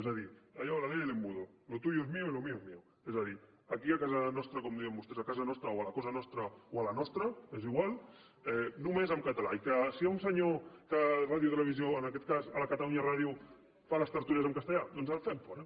és a dir allò la ley del embudo lo tuyo es mío y lo mío es míoa dir aquí a casa nostra com diuen vostès o a la cosa nostra o a la nostra és igual només en català i que si hi ha un senyor que a ràdio i televisió en aquest cas a catalunya ràdio fa les tertúlies en castellà doncs el fem fora